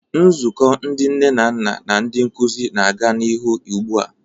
Nzukọ ndị nne na nna na ndị nkuzi na-aga n'ihu ugbu a.